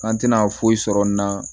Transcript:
An tɛna foyi sɔrɔ n na